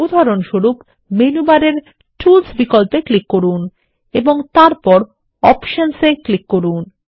উদাহরণস্বরূপ মেনু বারে টুলস বিকল্পে ক্লিক করুন এবং তারপর অপশনস এ ক্লিক করুন